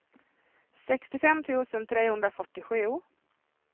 sextiofem tusen trehundrafyrtiosju